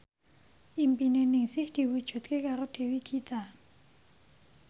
impine Ningsih diwujudke karo Dewi Gita